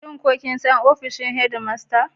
Shin kun san ofishin Head master?